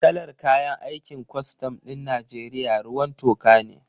Kalar kayan aikin kwastam ɗin Najeriya ruwan toka ne